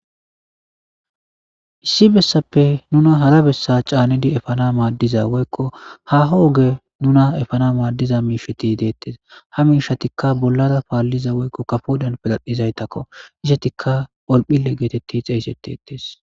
Issi besappe hara besa nuna ca,nidi efanawu madiza woyiko haho oge nuna efanaw madiza mishati detes ha mishatika bolara palida woyiko kafodan birdhidaytako izetika horophile gidi xesetetes